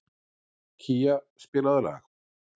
Kía, spilaðu lag.